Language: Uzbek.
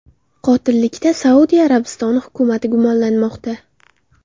Qotillikda Saudiya Arabistoni hukumati gumonlanmoqda.